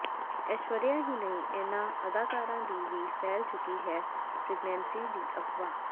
ਐਸ਼ਵਰਿਆ ਹੀ ਨਹੀਂ ਇਨ੍ਹਾਂ ਅਦਾਕਾਰਾਂ ਦੀ ਵੀ ਫੈਲ ਚੁੱਕੀ ਹੈ ਪ੍ਰੈਗਨੈਂਸੀ ਦੀ ਅਫਵਾਹ